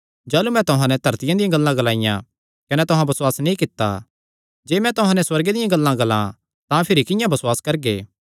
जाह़लू मैं तुहां नैं धरतिया दियां गल्लां ग्लाईयां कने तुहां बसुआस नीं कित्ता जे मैं तुहां नैं सुअर्गे दियां गल्लां ग्लां तां भिरी किंआं बसुआस करगे